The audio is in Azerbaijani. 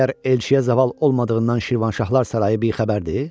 Məyər elçiyə zaval olmadığından Şirvanşahlar sarayı bixəbərdir?